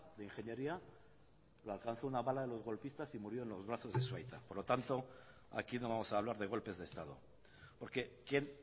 de ingeniería de alcanzó una bala de los golpistas y murió en los brazos de su aita por lo tanto aquí no vamos a hablar de golpes de estado porque quien